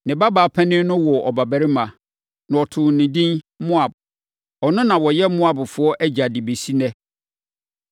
Ne babaa panin no woo ɔbabarima, na ɔtoo no edin Moab. Ɔno na ɔyɛ Moabfoɔ agya de bɛsi ɛnnɛ.